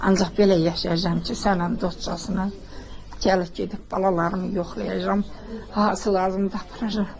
Ancaq belə yaşayacam ki, sənə də dostcasına gəlib gedib balalarımı yoxlayacam, hansılarımdır aparacam.